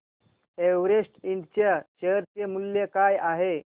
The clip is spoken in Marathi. एव्हरेस्ट इंड च्या शेअर चे मूल्य काय आहे